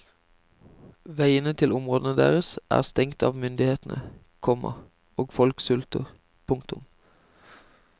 Veiene til områdene deres er stengt av myndighetene, komma og folk sulter. punktum